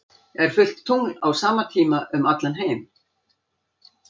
Er fullt tungl á sama tíma um allan heim?